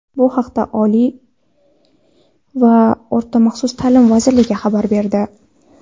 Bu haqda Oliy va o‘rta maxsus ta’lim vazirligi xabar berdi.